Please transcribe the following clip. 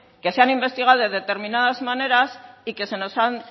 que se han investigado de determinadas maneras y que se nos han